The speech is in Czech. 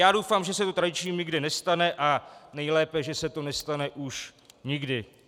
Já doufám, že se to tradičním nikde nestane, a nejlépe, že se to nestane už nikdy.